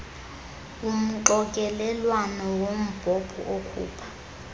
umxokelelwano wombhobho okhupha